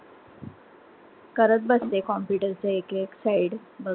करत बसते computer च एक एक site बघत.